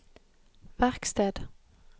verksted